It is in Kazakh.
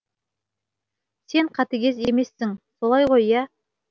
сен қатыгез емессің солай ғой иә